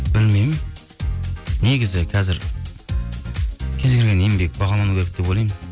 білмеймін негізі қазір кез келген еңбек бағалану керек деп ойлаймын